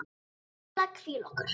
Við erum eiginlega að hvíla okkur.